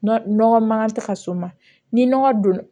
Nɔgɔ mankan tɛ ka s'o ma ni nɔgɔ don